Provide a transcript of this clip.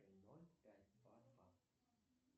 ноль пять два два